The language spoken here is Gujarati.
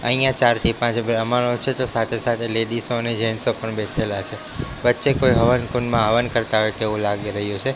અહિયા ચારથી પાંચ બ્રાહ્મણો છે તો સાથે સાથે લેડીઝો અને જેન્ટ્સો પણ બેઠેલા છે વચ્ચે કોઈ હવન કુંડમાં હવન કરતા હોઈ તેવુ લાગી રહ્યુ છે.